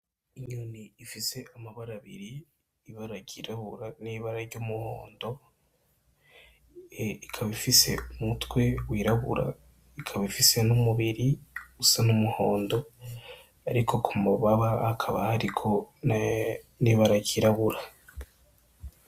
Inyoni ifise amabarabiri ibaragirabura n'ibara ry'umuhondo ikaba ifise umutwe wirabura ikaba ifise n'umubiri usa n'umuhondo, ariko ku mubaba akaba hariko n'ibaragirabura.